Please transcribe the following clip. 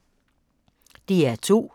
DR2